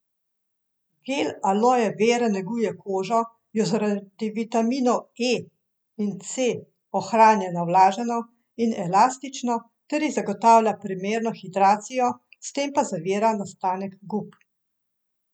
Gel aloje vere neguje kožo, jo zaradi vitaminov E in C ohranja navlaženo in elastično ter ji zagotavlja primerno hidracijo, s tem pa zavira nastanek gub.